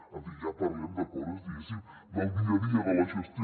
en fi ja parlem de coses diguéssim del dia a dia de la gestió